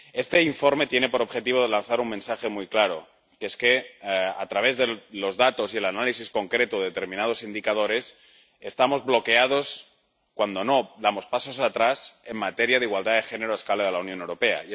Este informe tiene por objetivo lanzar un mensaje muy claro, y es que, a juzgar por los datos y el análisis concreto de determinados indicadores, estamos bloqueados, cuando no damos pasos atrás, en materia de igualdad de género a escala de la Unión Europea.